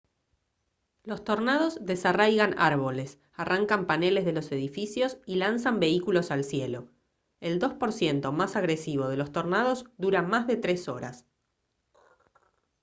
los tornados desarraigan árboles arrancan paneles de los edificios y lanzan vehículos al cielo. el 2 % más agresivo de los tornados dura más de tres horas